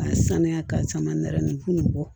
K'a sanuya k'a caman nɛrɛ nin ko nin bɔ